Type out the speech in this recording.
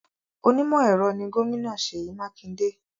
Onímọ̀-ẹ̀rọ ni Gómìnà Seyi Makinde